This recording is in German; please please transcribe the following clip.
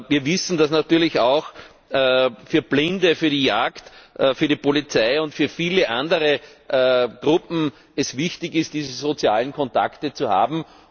Wir wissen, dass es natürlich auch für Blinde, für die Jagd, für die Polizei und für viele andere Gruppen wichtig ist, diese sozialen Kontakte zu haben.